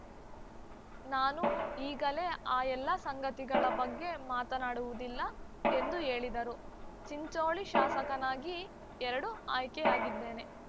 ನಾನು ಈಗಲೇ ಆ ಎಲ್ಲಾ ಸಂಗತಿಗಳ ಬಗ್ಗೆ ಮಾತನಾಡುವುದಿಲ್ಲ ಎಂದು ಹೇಳಿದರು ಚಿಂಚೋಳಿ ಶಾಸಕನಾಗಿ ಎರಡು ಆಯ್ಕೆಯಾಗಿದ್ದೇನೆ